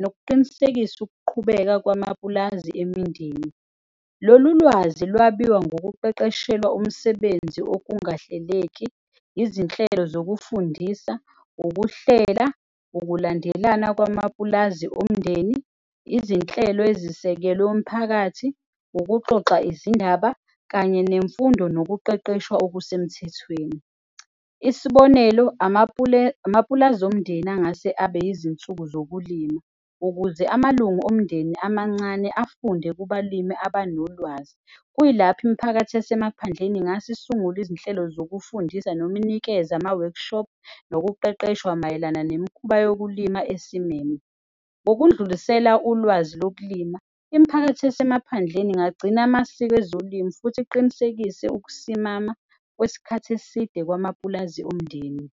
nokuqinisekisa ukuqhubeka kwamapulazi emindenini. Lolu lwazi lwabiwa ngokuqeqeshelwa umsebenzi, okungahleleki, izinhlelo zokufundisa, ukuhlela, ukulandelana kwamapulazi omndeni. Izinhlelo ezisekelu umphakathi, ukuxoxa izindaba, kanye nemfundo nokuqeqeshwa okusemthethweni. Isibonelo, amapulazi omndeni angase abe izinsuku zokulima ukuze amalungu omndeni amancane afunde kubalimi abanolwazi. Kuyilapho imiphakathi yasemaphandleni ingase isungule izinhlelo zokufundisa. Noma inikeze ama-workshop, nokuqeqeshwa mayelana nemikhuba yokulima esimeme. Ngokundlulisela ulwazi lokulima, imiphakathi yasemaphandleni ingagcina amasiko ezolimo futhi iqinisekise ukusimama kwesikhathi eside kwamapulazi omndeni.